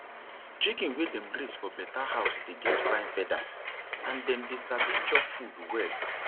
chicken wey dem raise for better house dey get fine feathers and them they sabi chop food well